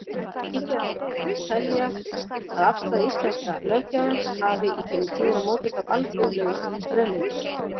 Líklegt má telja að afstaða íslenska löggjafans hafi í gegnum tíðina mótast af alþjóðlegum straumum.